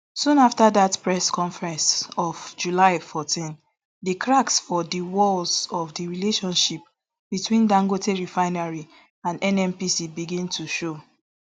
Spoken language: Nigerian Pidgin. soon afta dat press conference of july fourteen di cracks for di walls of of di relationship between dangote refinery and nnpc begin to show